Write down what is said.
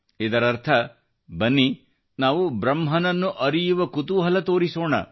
ಇದರರ್ಥ ಬನ್ನಿ ನಾವು ಬ್ರಹ್ಮನನ್ನು ಅರಿಯುವ ಕುತೂಹಲ ತೋರಿಸೋಣ